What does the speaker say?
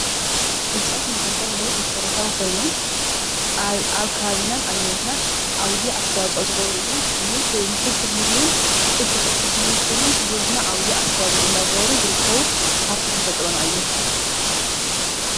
እፅዋት ንማዕልታዊ ሂወት መሰረታዊ ኮይኖም ኣብ ከባቢናን ኣብ ሂወትናን ዓብይ ኣስታዋፅኦ ዝገብሩ እዮም። ንፍልፍል ምግብን ፍልፍል ኦክስጅን ኮይኖም ንሂወትና ዓብይ ኣስተዋፅኦ እንዳገበሩ ዝርከቡ ሃፍቲ ተፈጥሮና እዮም።